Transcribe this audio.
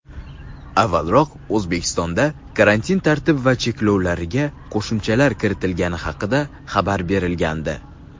avvalroq O‘zbekistonda karantin tartib va cheklovlariga qo‘shimchalar kiritilgani haqida xabar berilgandi.